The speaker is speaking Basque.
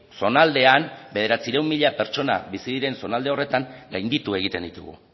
zonaldean bederatziehun mila pertsona bizi diren zonalde horretan gainditu egiten ditugu